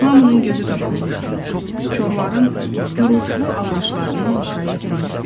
Hamının gözü qabağında, korların gurultulu alqışlarının müşayiəti ilə.